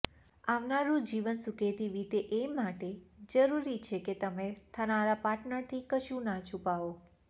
આવનારું જીવન સુખેથી વીતે એ માટે જરૂરી છે કે તમે થનારા પાર્ટનરથી કશું ના છુપાવો